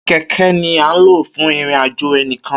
Kẹkẹ ni a n lo fún ìrìn àjò enikan